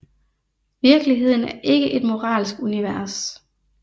Virkeligheden er ikke et moralsk univers